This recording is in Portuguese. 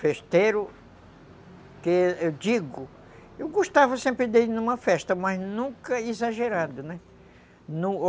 Festeiro, que eu digo, eu gostava sempre de ir a uma festa, mas nunca exagerado, né?